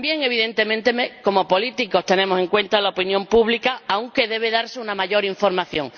También, evidentemente, como políticos tenemos en cuenta la opinión pública, aunque debe darse una mayor información.